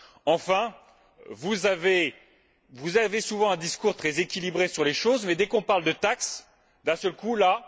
Enfin, vous avez souvent un discours très équilibré sur les choses, mais dès qu'on parle de taxes, d'un seul coup, là...